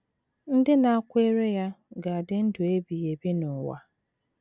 Ndị nakweere ya ga - adị ndụ ebighị ebi n’ụwa.